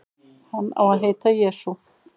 Hann á að heita Jesú.